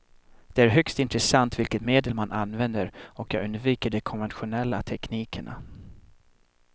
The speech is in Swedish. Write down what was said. Det är högst intressant vilket medel man använder och jag undviker de konventionella teknikerna.